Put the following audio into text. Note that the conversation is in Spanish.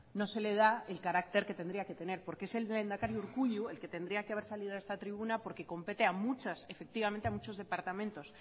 no se le da el carácter que tendría que tener porque es el lehendakari urkullu el que tendría que haber salido a esta tribuna porque compete efectivamente a muchos departamentos